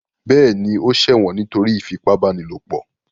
Bẹ́ẹ̀ ni, ó ṣẹ̀wọ̀n nítorí ìfipábánilòpọ̀.